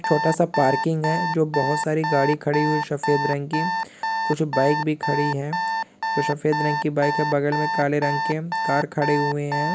छोटा सा पार्किंग हैजो बहुत सारी गाड़ी खड़ी हुई शफेद रंग की कुछ बाइक भी खड़ी हैं। जो शफेद रंग की बाइक है बगल में काले रंग के कार खड़े हुएं हैं।